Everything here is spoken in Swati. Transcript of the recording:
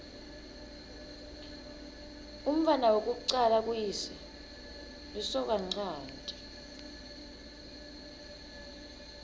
umntfwana wekucala kuyise lisokanchanti